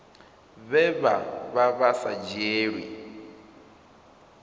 vhe vha vha sa dzhielwi